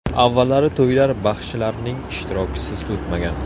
Avvallari to‘ylar baxshilarning ishtirokisiz o‘tmagan.